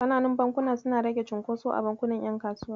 Ƙananun bankuna suna rage cunkoso a bankunan ƴan kasuwa.